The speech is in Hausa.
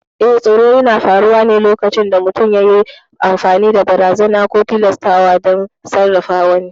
Eh, tsoro yana faruwa ne lokacin da mutum yayi amfani da barazana ko tilastawa don sarrafa wani.